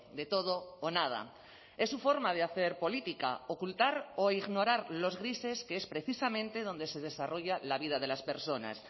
de todo o nada es su forma de hacer política ocultar o ignorar los grises que es precisamente donde se desarrolla la vida de las personas